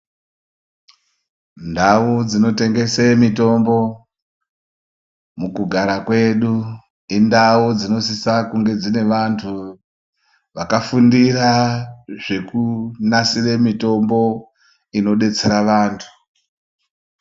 Ndau dzinotengese mitombo mukugara kwedu indau dzinosisa kunge dzine vantu vakafundira zvekunasire mitombo inodetsera vantu.